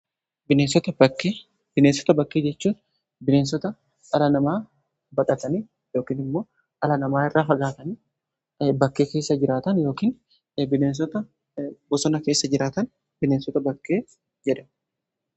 bineensota bakkee jechuun bineensota dhala namaa baqatanii yookiin immoo dhala namaa irraa fagaatanii bakkee keessa jiraatan yookiin bineensota bosona keessa jiraatan bineensota bakkee jedhamu.